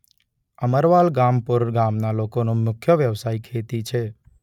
અમરવાલગામપુર ગામના લોકોનો મુખ્ય વ્યવસાય ખેતી છે.